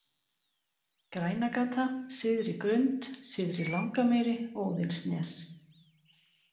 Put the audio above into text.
Grænagata, Syðri-Grund, Syðri-Langamýri, Óðinsnes